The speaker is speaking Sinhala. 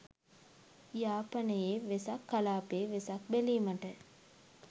යාපනයේ වෙසක් කලාපයේ වෙසක් බැලීමට